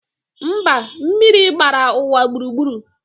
Mba, mmiri gbara ụwa gburugburu